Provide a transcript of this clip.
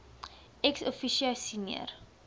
ex officio senior